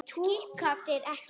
Túkall færðu!